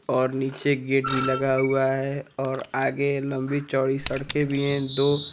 और नीचे गेट भी लगा हुआ है और आगे लंबी चौड़ी सड़कें भी हैं दो।